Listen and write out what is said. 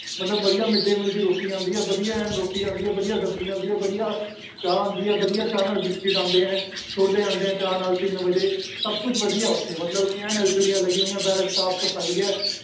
ਮਤਲਬ ਵਧੀਆ mid day meal ਦੀ ਰੋਟੀ ਆਉਂਦੀ ਹੈ, ਵਧੀਆ ਐਨ ਰੋਟੀ ਆਉਂਦੀ ਹੈ ਵਧੀਆ ਸਬਜ਼ੀ ਆਉਂਦੀ ਹੈ ਵਧੀਆ ਚਾਹ ਆਉਂਦੀ ਹੈ ਵਧੀਆ ਚਾਹ ਨਾਲ ਬਿਸਕਿਟ ਆਉਂਦੇ ਹੈ, ਛੋਲੇ ਆਉਂਦੇ ਹੈ ਚਾਹ ਨਾਲ ਤਿੰਨ ਵਜੇ ਸਭ ਕੁਛ ਵਧੀਆ ਹੈ ਉੱਥੇ ਮਤਲਬ ਕੀ ਐਨ ਲੱਗੀਆਂ ਹੋਈਆਂ ਬੈਰਕ ਸਾਫ਼ ਸਫ਼ਾਈ ਹੈ